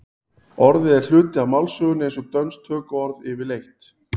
orðið er hluti af málsögunni eins og dönsk tökuorð yfirleitt